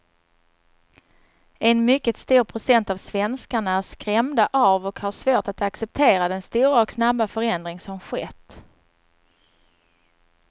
En mycket stor procent av svenskarna är skrämda av och har svårt att acceptera den stora och snabba förändring som skett.